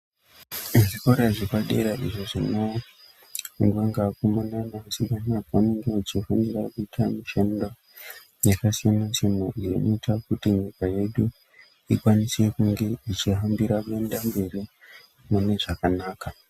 Zvikora zvepadera izvo zvinofundwa ngeavakomana nevasikana pavanenge vechifundira kuita mishando yakasiyana siyana iyo inoita kuti nyika yedu ikwanise kunge ichihambira kuenda mberi mune zvakanaka.